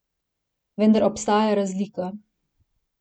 Vendar obstaja razlika.